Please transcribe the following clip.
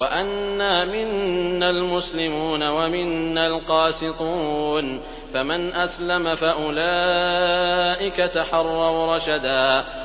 وَأَنَّا مِنَّا الْمُسْلِمُونَ وَمِنَّا الْقَاسِطُونَ ۖ فَمَنْ أَسْلَمَ فَأُولَٰئِكَ تَحَرَّوْا رَشَدًا